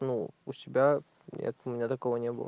ну у себя нет у меня такого не было